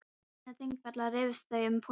Á leiðinni til Þingvalla rifust þau um pólitík.